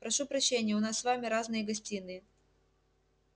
прошу прощения у нас с вами разные гостиные